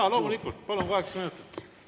Jaa, loomulikult, palun, kaheksa minutit kokku.